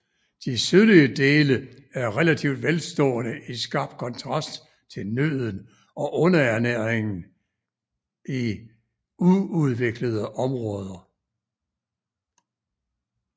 De sydlige dele er relativt velstående i skarp kontrast til nøden og undernæringen i uudviklede områder